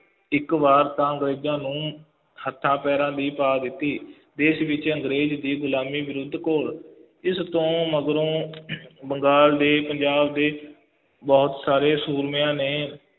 ਇੱਕ ਵਾਰ ਤਾਂ ਅੰਗਰੇਜ਼ਾਂ ਨੂੰ ਹੱਥਾਂ ਪੈਰਾਂ ਦੀ ਪਾ ਦਿੱਤੀ, ਦੇਸ਼ ਵਿੱਚ ਅੰਗਰੇਜ਼ ਦੀ ਗੁਲਾਮੀ ਵਿਰੁੱਧ ਘੋਲ, ਇਸ ਤੋਂ ਮਗਰੋਂ ਬੰਗਾਲ ਦੇ, ਪੰਜਾਬ ਦੇ ਬਹੁਤ ਸਾਰੇ ਸੂਰਮਿਆਂ ਨੇ